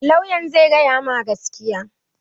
Lauyan zai gaya ma gaskiya